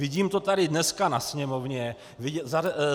Vidím to tady dneska na sněmovně.